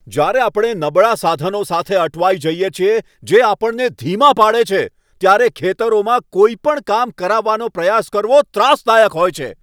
જ્યારે આપણે નબળા સાધનો સાથે અટવાઈ જઈએ છીએ, જે આપણને ધીમા પાડે છે, ત્યારે ખેતરોમાં કોઈ પણ કામ કરાવવાનો પ્રયાસ કરવો ત્રાસદાયક હોય છે.